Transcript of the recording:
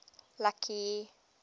lucky